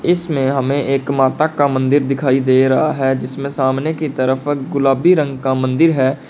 इसमें हमें एक माता का मंदिर दिखाई दे रहा है जिसमें सामने की तरफ गुलाबी रंग का मंदिर है।